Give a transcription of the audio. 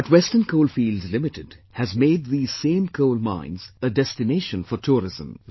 But Western Coalfields Limited has made these same coal mines a destination for tourism